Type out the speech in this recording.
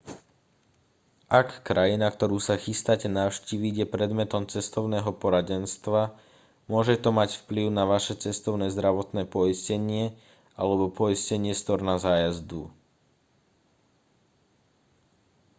ak krajina ktorú sa chystáte navštíviť je predmetom cestovného poradenstva môže to mať vplyv na vaše cestovné zdravotné poistenie alebo poistenie storna zájazdu